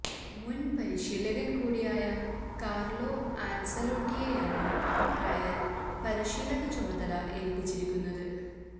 മുന് പരിശീലകന് കൂടിയായ കാര്ലോ ആന്സലോട്ടിയെയാണ് റയല് പരിശീലക ചുമതല ഏല്പ്പിച്ചിരിക്കുന്നത്